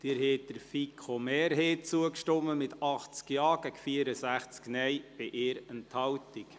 Sie haben der FiKo-Mehrheit zugestimmt, mit 80 Ja- gegen 64 Nein-Stimmen bei 1 Enthaltung.